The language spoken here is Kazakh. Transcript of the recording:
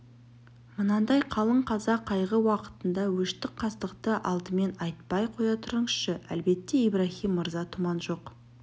мынандай қалың қаза қайғы уақытында өштік-қастықты алдымен айтпай қоя тұрсаңызшы әлбәттә ибраһим мырза тұман жоқ